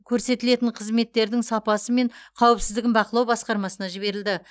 көрсетілетін қызметтердің сапасы мен қауіпсіздігін бақылау басқармасына жіберілді